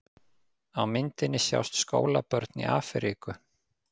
Á myndinni sjást skólabörn í Afríku.